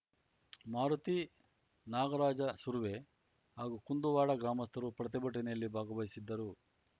ಮಾರುತಿ ನಾಗರಾಜ ಸುರ್ವೆ ಹಾಗೂ ಕುಂದುವಾಡ ಗ್ರಾಮಸ್ಥರು ಪ್ರತಿಭಟನೆಯಲ್ಲಿ ಭಾಗವಹಿಸಿದ್ದರು